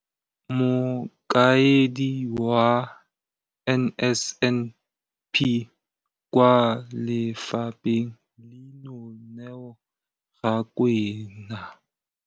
Mokaedi wa NSNP kwa lefapheng leno, Neo Rakwena,